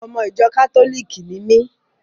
Ọmọ ìjọ kátólìkì ni mí.